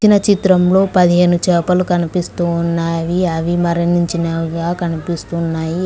ఈ చిత్రంలో పదిహెను చాపలు కనిపిస్తున్నాయి అవి మరణించిన్నావుగా కనిపిస్తున్నాయి.